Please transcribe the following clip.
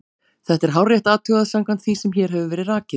Þetta er hárrétt athugað samkvæmt því sem hér hefur verið rakið.